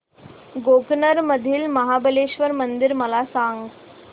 गोकर्ण मधील महाबलेश्वर मंदिर मला सांग